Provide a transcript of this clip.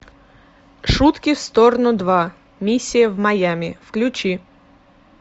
шутки в сторону два миссия в майами включи